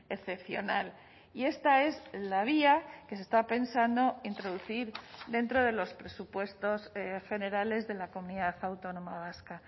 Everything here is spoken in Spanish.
excepcional y esta es la vía que se está pensando introducir dentro de los presupuestos generales de la comunidad autónoma vasca